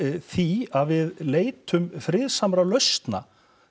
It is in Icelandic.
því að við leitum friðsamra lausna